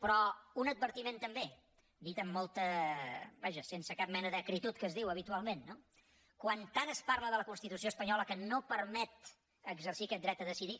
però un advertiment també dit vaja sense cap mena d’acritud que es diu habitualment no quan tant es parla de la constitució espanyola que no permet exercir aquest dret a decidir